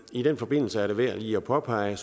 i den forbindelse er det værd lige at påpege